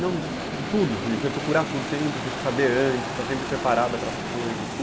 Não, de tudo, você procurar tudo sempre, saber antes, estar sempre preparada para as coisas.